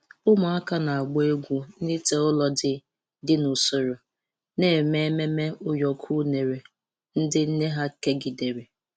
Ụmụaka na-agba egwu na ite ụrọ dị dị n'usoro, na-eme ememe ụyọkọ unere ndị nne ha kegidere.